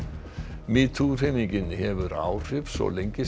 metoo hreyfingin hefur áhrif svo lengi sem